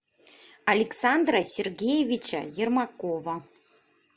александра сергеевича ермакова